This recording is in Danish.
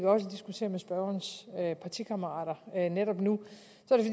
og diskuterer med spørgerens partikammerater netop nu